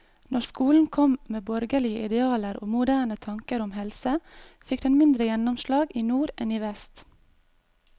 Når skolen kom med borgerlige idealer og moderne tanker om helse, fikk den mindre gjennomslag i nord enn i vest.